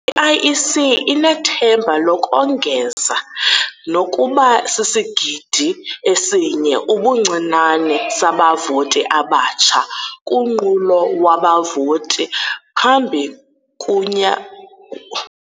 I-IEC inethemba lokongeza nokuba sisigidi esinye ubuncinane sabavoti abatsha kunqulo wabavoti phambi kunya.